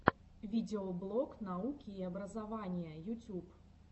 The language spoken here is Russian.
видеоблог науки и образования ютюб